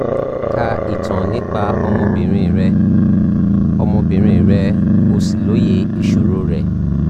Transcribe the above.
ka ìtàn nípa ọmọbìnrin rẹ o ọmọbìnrin rẹ o sì lóye ìṣòro rẹ